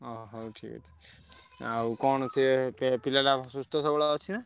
ଓ ହଉ ଠିକ୍ ଅଛି ଆଉ କଣ ସେ ପିଲା ଟା ସୁସ୍ଥ ସବଳ ଅଛି ନାଁ?